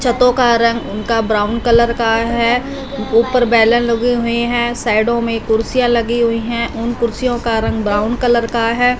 छतों का रंग उनका ब्राउन कलर का हैं ऊपर बैलून लगे हुई हैं साइडों में कुर्सियां लगी हुई हैं उन कुर्सियों का रंग ब्राउन कलर का हैं।